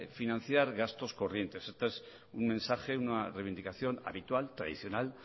financiar gastos corrientes este es un mensaje una reivindicación habitual tradicional